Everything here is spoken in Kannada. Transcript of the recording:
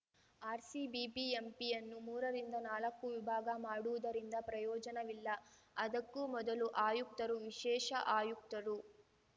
ಆರ್‌ಸಿ ಬಿಬಿಎಂಪಿಯನ್ನು ಮೂರರಿಂದ ನಾಲಕ್ಕು ವಿಭಾಗ ಮಾಡುವುದರಿಂದ ಪ್ರಯೋಜನವಿಲ್ಲ ಅದಕ್ಕೂ ಮೊದಲು ಆಯುಕ್ತರು ವಿಶೇಷ ಆಯುಕ್ತರು